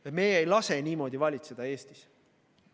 Ja meie ei lase niimoodi valitseda Eestis.